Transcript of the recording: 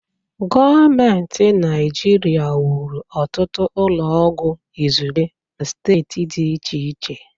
Gọọment Naịjirịa wuru ọtụtụ ụlọ oọgwụ izugbe na steeti dị iche iche.